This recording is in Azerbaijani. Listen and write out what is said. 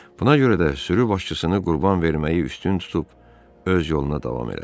Buna görə də sürü başçısını qurban verməyi üstün tutub öz yoluna davam elədi.